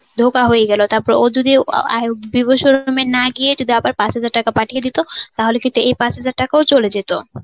ধোঁকা হয়ে গেল. তারপর ও যদি Vivo showroom না গিয়ে যদি আবার পাঁচ হাজার টাকা পাঠিয়ে দিত তাহলে কিন্তু এই পাঁচ হাজার টাকাও চলে যেত.